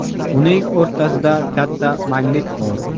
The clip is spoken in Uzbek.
Uning o‘rtasida katta magnit bor.